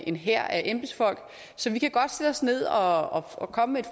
en hær af embedsfolk så vi kan godt sætte os ned og og komme med